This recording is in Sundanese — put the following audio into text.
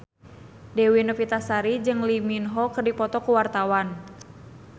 Dewi Novitasari jeung Lee Min Ho keur dipoto ku wartawan